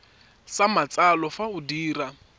sa matsalo fa o dira